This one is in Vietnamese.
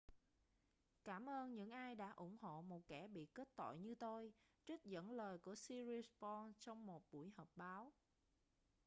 cảm ơn những ai đã ủng hộ một kẻ bị kết tội như tôi trích dẫn lời của siriporn trong một buổi họp báo